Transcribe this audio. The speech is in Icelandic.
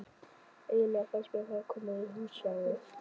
Eiginlega fannst mér ég vera komin í húsgagnaverslun.